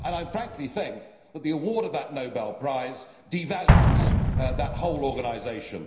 Frankly, I think that the award of that Nobel Prize devalues that whole organisation.